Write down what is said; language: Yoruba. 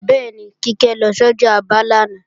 Bẹ́ẹ̀ni, Kíkẹ́ lọ sọ́jà Aba lánàá